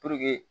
Puruke